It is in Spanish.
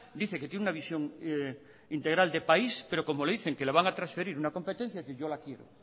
dice que tiene una visión integral de país pero como le dicen que le van a transferir una competencia dice yo la quiero